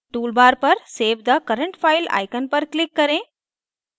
toolbar पर save the current file icon पर click करें